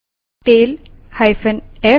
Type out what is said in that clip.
terminal पर जाएँ